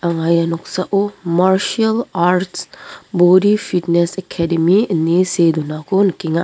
anga ia noksao marsial arch bodi fitnes ekedemi ine see donako nikenga.